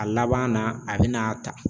A laban na a bi n'a ta.